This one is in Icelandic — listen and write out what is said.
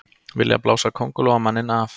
Vilja blása Kóngulóarmanninn af